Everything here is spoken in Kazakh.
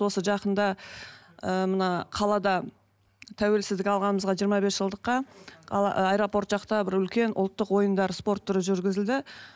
осы жақында ыыы мына қалада тәуелсіздік алғанымызға жиырма бес жылдыққа аэропорт жақта бір үлкен ұлттық ойындар спорт түрі жүргізілді